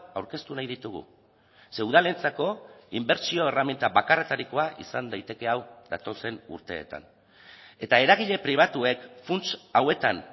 aurkeztu nahi ditugu ze udalentzako inbertsio erreminta bakarretarikoa izan daiteke hau datozen urteetan eta eragile pribatuek funts hauetan